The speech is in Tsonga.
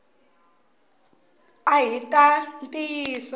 ahi ta ntiyiso